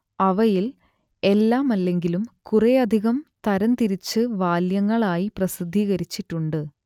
അവയിൽ എല്ലാമല്ലെങ്കിലും കുറേയധികം തരംതിരിച്ച് വാല്യങ്ങളായി പ്രസിദ്ധീകരിച്ചിട്ടുണ്ട്